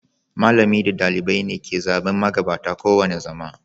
Malamai da ɗalibai ne ke zaɓen magabata kowane zama.